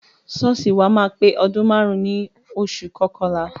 Ṣọ́ọ̀ṣì wa máa pé ọdún márùn-ún ní oṣù kọkànlá.